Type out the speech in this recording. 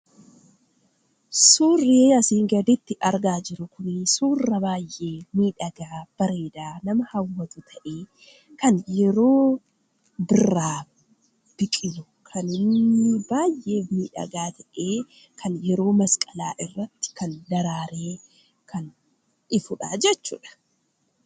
Suurrii asii gaditti argaa jiru kunii suura baayyee miidhagaa, bareedaa nama hawwatu ta'ee, kan yeroo birraa biqilu kan inni baayyee miidhagaa ta'ee kan yeroo masqalaa irratti kan daraaree kan ifuudha jechuudha.